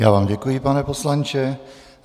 Já vám děkuji, pane poslanče.